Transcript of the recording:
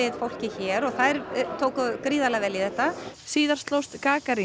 fólkið hér og þær tóku gríðarlega vel í þetta síðar slóst